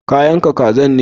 Ka yanka kazan ne?